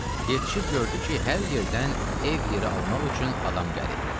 Yetişib gördü ki, hər yerdən ev yeri almaq üçün adam gəlib.